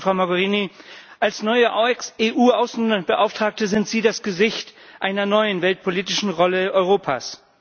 Ich danke Ihnen Frau Mogherini, als neue EU Außenbeauftragte sind Sie das Gesicht einer neuen weltpolitischen Rolle Europas.